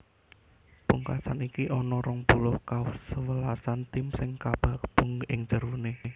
Pungkasan iki ana rong puluh kasewelasan tim sing kagabung ing jeroné